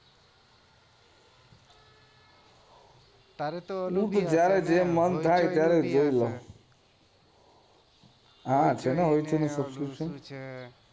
તારે તો જયારે મન થાય ત્યારે જોઈ લઉ હા છે ને